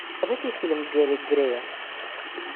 фильм гэри грея